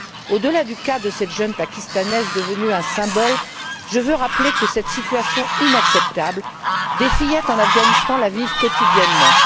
Au delà du cas de cette jeune Pakistanaise devenue un symbole, je veux rappeler que, cette situation inacceptable, des fillettes en Afghanistan la vivent quotidiennement.